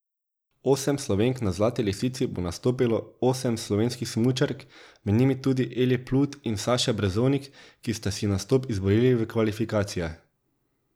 Osem Slovenk Na Zlati lisici bo nastopilo osem slovenskih smučark, med njimi tudi Eli Plut in Saša Brezovnik, ki sta si nastop izborili v kvalifikacijah.